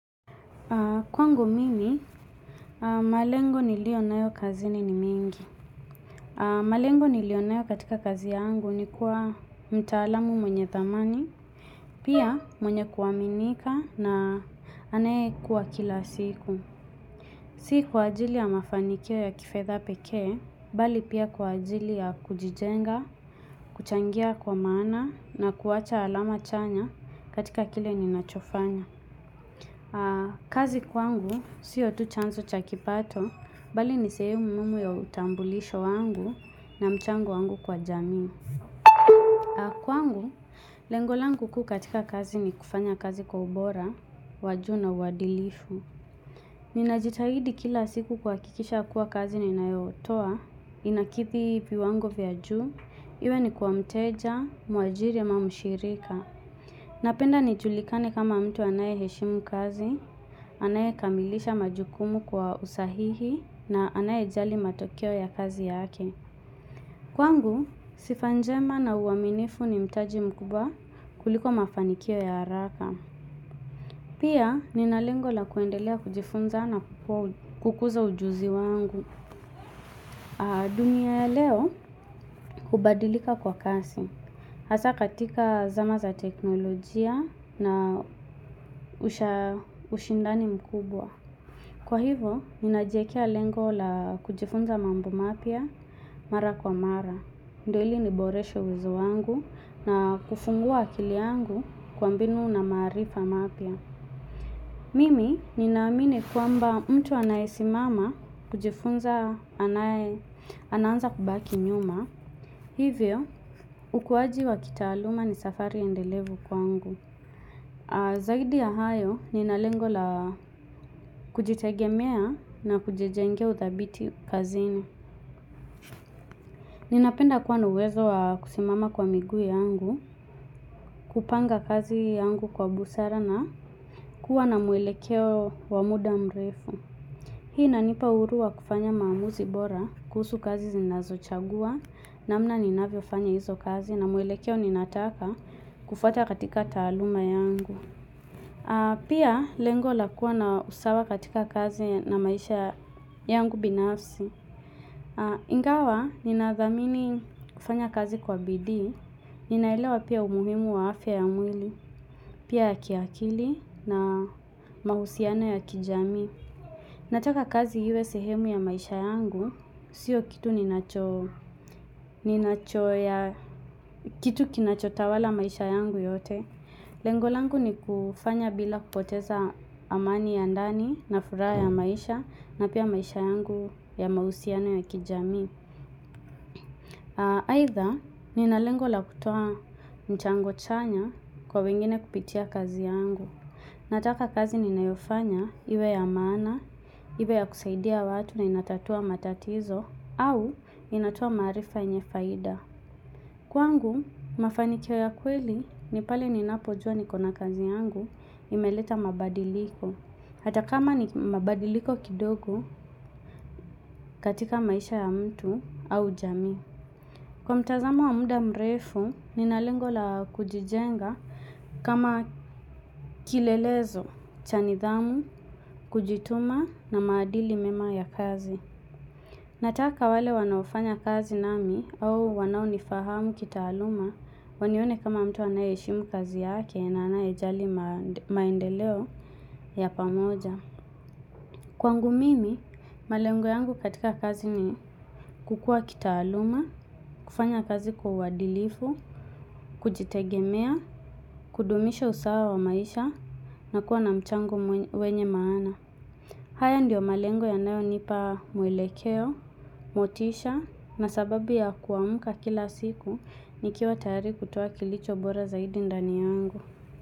Kwangu mimi, malengo nilionayo kazini ni mengi. Malengo nilionayo katika kazi yangu ni kuwa mtaalamu mwenye thamani, pia mwenye kuaminika na anayekua kila siku. Si kwa ajili ya mafanikio ya kifedha pekee, bali pia kuwa ajili ya kujijenga, kuchangia kwa maana na kuwacha alama chanya katika kile ninachofanya. Kazi kwangu sio tu chanzo cha kipato. Bali ni sehemu muhimu ya utambulisho wangu na mchango wangu kwa jamii. Kwangu, lengo langu kuu katika kazi ni kufanya kazi kwa ubora, wa juu na uadilifu. Ninajitahidi kila siku kuhakisha kuwa kazi ninayotoa inakithi viwango vya juu, iwe ni kwa mteja, mwajiri ama mshirika. Napenda nijulikane kama mtu anayeheshimu kazi anayekamilisha majukumu kwa usahihi na anayejali matokeo ya kazi yake. Kwangu, sifa njema na uaminifu ni mtaji mkubwa kuliko mafanikio ya haraka. Pia, nina lengo la kuendelea kujifunza na kukuza ujuzi wangu. Dunia ya leo, hubadilika kwa kasi. Hasa katika zama za teknolojia na ushindani mkubwa. Kwa hivo, ninajiekea lengo la kujifunza mambo mapya mara kwa mara. Ndio ili niboreshe uwezo wangu na kufungua akili yangu kwa mbinu na maarifa mapya. Mimi, ninaamini kwamba mtu anayesimama kujifunza anaanza kubaki nyuma. Hivyo, ukuaji wa kitaaluma ni safari endelevu kwangu. Zaidi ya hayo nina lengo la kujitegemea na kujijengea uthabiti kazini. Ninapenda kwa na uwezo kusimama kwa miguu yangu, kupanga kazi yangu kwa busara na kuwa na mwelekeo wa muda mrefu. Hii inanipa uhuru wa kufanya maamuzi bora, kuhusu kazi zinazochagua, namna ninavyofanya hizo kazi na mwelekeo ninataka kufuata katika taaluma yangu. Pia lengo la kuwa na usawa katika kazi na maisha yangu binafsi. Ingawa ninathamini kufanya kazi kwa Bidii Ninaelewa pia umuhimu wa afya ya mwili pia ya kiakili na mahusiano ya kijamii. Nataka kazi iwe sehemu ya maisha yangu. Sio kitu kinachotawala maisha yangu yote. Lengo langu ni kufanya bila kupoteza amani ya ndani na furaha ya maisha na pia maisha yangu ya mahusiano ya kijamii. Aidha, nina lengo la kutoa mchango chanya kwa wengine kupitia kazi yangu. Nataka kazi ninayofanya iwe ya maana, iwe ya kusaidia watu na inatatua matatizo au inatoa maarifa yenye faida. Kwangu, mafanikio ya kweli, ni pale ninapojua niko na kazi yangu, imeleta mabadiliko. Hata kama ni mabadiliko kidogo katika maisha ya mtu au jamii. Kwa mtazamo wa muda mrefu, nina lengo la kujijenga kama kilelezo, cha nidhamu, kujituma na maadili mema ya kazi. Nataka wale wanaofanya kazi nami, au wanaonifahamu kitaaluma wanione kama mtu anayeheshimu kazi yake na anayejali maendeleo ya pamoja. Kwangu mimi, malengo yangu katika kazi ni kukua kitaaluma, kufanya kazi kwa uadilifu, kujitegemea, kudumisha usawa wa maisha na kuwa na mchango wenye maana. Haya ndiyo malengo yanayonipa mwelekeo, motisha na sababu ya kuamka kila siku nikiwa tayari kutoa kilicho bora zaidi ndani yangu.